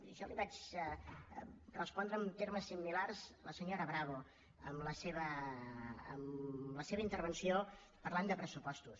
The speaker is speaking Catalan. i això li vaig respondre amb termes similars a la senyora bravo en la seva intervenció parlant de pressupostos